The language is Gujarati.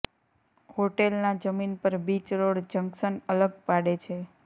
હોટેલ ના જમીન પર બીચ રોડ જંકશન અલગ પાડે છે